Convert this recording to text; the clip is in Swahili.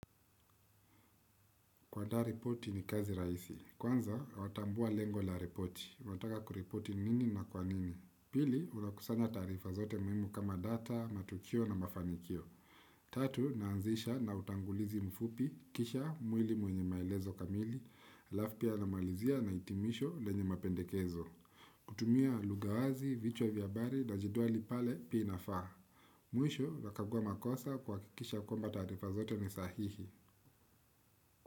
Kuandaa ripoti ni kazi rahisi. Kwanza, watambua lengo la ripoti. Unataka kuripoti nini na kwa nini. Pili, unakusanya taarifa zote muhimu kama data, matukio na mafanikio. Tatu, naanzisha na utangulizi mfupi. Kisha, mwili mwenye maelezo kamili. Halafu pia namalizia na hitimisho lenye mapendekezo. Kutumia lugha wazi, vichwa vya habari na jedwali pale pia inafaa. Mwisho, unakagua makosa kuhakikisha kwamba taarifa zote ni sahihi.